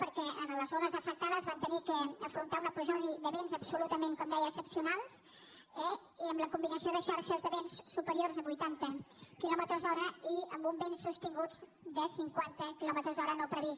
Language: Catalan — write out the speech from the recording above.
perquè a les zones afectades van haver d’afrontar un episodi de vents absolutament com deia excepcionals i amb la combinació de xarxes de vents superiors a vuitanta quilòmetres hora i amb uns vents sostinguts de cinquanta quilòmetres hora no previst